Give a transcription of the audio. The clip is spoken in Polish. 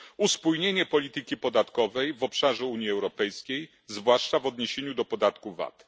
Uspójnienie polityki podatkowej w obszarze Unii Europejskiej, zwłaszcza w odniesieniu do podatku VAT.